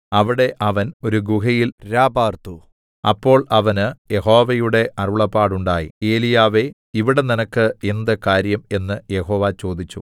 അവിടെ അവൻ ഒരു ഗുഹയിൽ രാപാർത്തു അപ്പോൾ അവന് യഹോവയുടെ അരുളപ്പാടുണ്ടായി ഏലീയാവേ ഇവിടെ നിനക്ക് എന്ത് കാര്യം എന്ന് യഹോവ ചോദിച്ചു